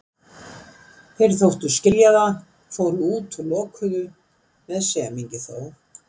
Þeir þóttust skilja það, fóru út og lokuðu, með semingi þó.